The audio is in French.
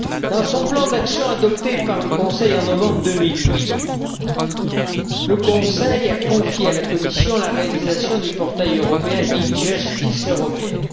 Dans son plan d'action adopté en novembre 2008, le Conseil a confié à la Commission la réalisation du portail européen d' e Justice européenne